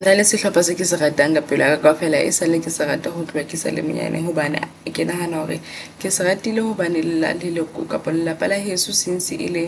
Hona le sehlopha seo kese ratang ka pelo yaka kaofela e sale ke sa rate ho tloha ke sale monyane. Hobane ke nahana hore ke se ratile hobane ele la leloko kapa lelapa la heso since e le